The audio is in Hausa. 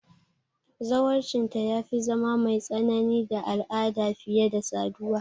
Zawarcinta ya fi zama mai tsanani da al'ada fiye da saduwa.